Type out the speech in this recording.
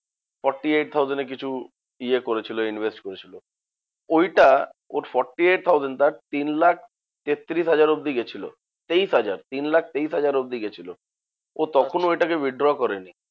Forty eight thousand এ কিছু ইয়ে করেছিল invest করেছিল। ওইটা ওই forty eight thousand টা তিন লাখ তেত্তিরিশ হাজার অব্দি গেছিল, তেইশ হাজার তিন লাখ তেইশ হাজার অব্দি গেছিলো। ও তখনও ঐটাকে withdraw করেনি